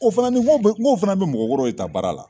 O fana ni n ko bi n ko fana bi mɔgɔkɔrɔ de ta baara la